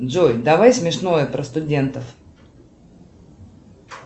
джой давай смешное про студентов